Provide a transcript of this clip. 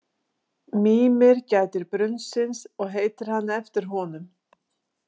Mímir gætir brunnsins og heitir hann eftir honum.